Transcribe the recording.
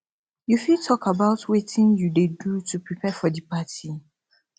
you fit talk about about wetin you dey do to prepare for di party